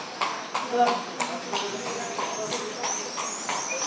Vorm, hringdu í Nývarð eftir þrjátíu og fimm mínútur.